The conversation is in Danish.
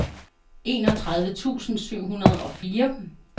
enogtredive tusind syv hundrede og fire